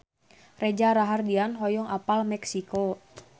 Reza Rahardian hoyong apal Meksiko